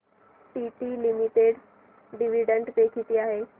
TT limited dividend pay किती आहे